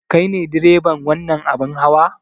Kai ne direban wannan abin hawa?